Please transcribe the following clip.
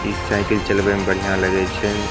इस साइकिल चलवे में बढ़िया लगे छे।